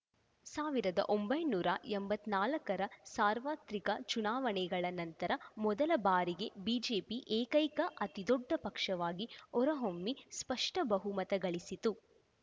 ಸಾವಿರದ ಒಂಬೈನೂರ ಎಂಬತ್ತ್ ನಾಲ್ಕ ರ ಸಾರ್ವತ್ರಿಕ ಚುನಾವಣೆಗಳ ನಂತರ ಮೊದಲ ಬಾರಿಗೆ ಬಿಜೆಪಿ ಏಕೈಕ ಅತಿದೊಡ್ಡ ಪಕ್ಷವಾಗಿ ಹೊರಹೊಮ್ಮಿ ಸ್ಪಷ್ಟ ಬಹುಮತ ಗಳಿಸಿತ್ತು